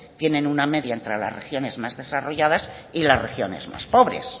tienen una media entre las regiones más desarrolladas y la regiones más pobres